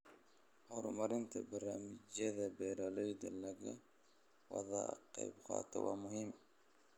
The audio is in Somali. Horumarinta barnaamijyada beeralayda laga wada qaybqaato waa muhiim.